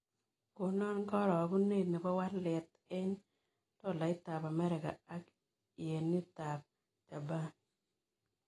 Konan karogunet ne po walet eng' tolaitap amerika ak yenitap japan